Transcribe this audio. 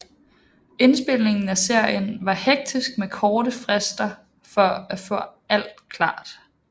Indspilningen af serien var hektisk med korte frister for at få alt klart